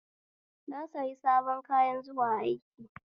Na sayi sabon kayan zuwa aiki